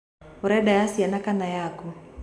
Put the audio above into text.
Ũrenda ya ciana kana yaku.